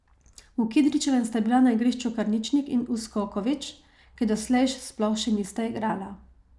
V Kidričevem sta bila na igrišču Karničnik in Uskoković, ki doslej sploh še nista igrala.